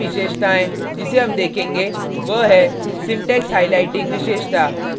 अगली विशेषताएँ जिसे हम देखेंगे वह है syntax highlighting विशेषता